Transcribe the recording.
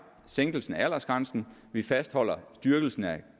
sænkelsen af aldersgrænsen vi fastholder styrkelsen af